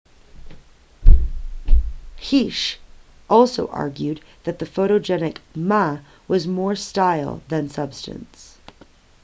hsieh also argued that the photogenic ma was more style than substance